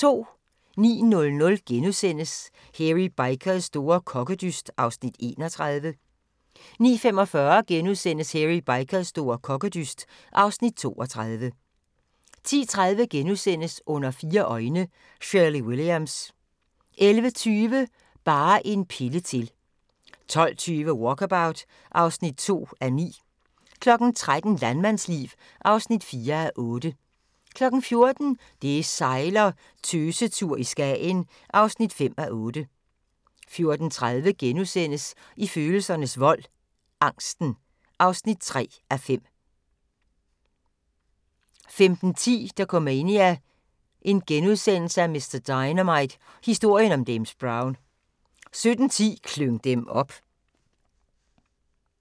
09:00: Hairy Bikers store kokkedyst (Afs. 31)* 09:45: Hairy Bikers store kokkedyst (Afs. 32)* 10:30: Under fire øjne – Shirley Williams * 11:20: Bare en pille til 12:20: Walkabout (2:9) 13:00: Landmandsliv (4:8) 14:00: Det sejler - Tøsetur i Skagen (5:8) 14:30: I følelsernes vold - angsten (3:5)* 15:10: Dokumania: Mr Dynamite – Historien om James Brown * 17:10: Klyng dem op